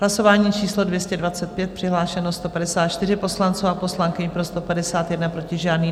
Hlasování číslo 225, přihlášeno 154 poslanců a poslankyň, pro 151, proti žádný.